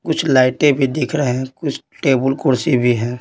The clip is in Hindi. कुछ लाइटें भी दिख रहे हैं कुछ टेबुल कुर्सी भी हैं।